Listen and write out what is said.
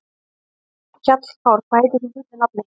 Hjallkár, hvað heitir þú fullu nafni?